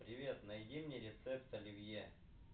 привет найди мне рецепт оливье